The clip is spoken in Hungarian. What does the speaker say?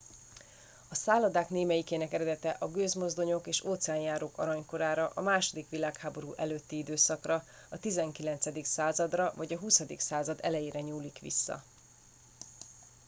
a szállodák némelyikének eredete a gőzmozdonyok és óceánjárók aranykorára a második világháború előtti időszakra a 19. századra vagy a 20. század elejére nyúlik vissza